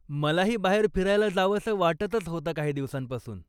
मलाही बाहेर फिरायला जावसं वाटतंच होतं काही दिवसांपासून.